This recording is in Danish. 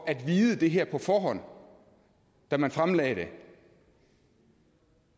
at vide det her på forhånd da man fremlagde det